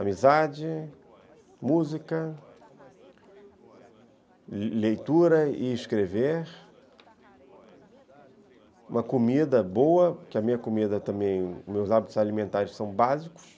Amizade, música, leitura e escrever, uma comida boa, porque a minha comida também, meus hábitos alimentares são básicos.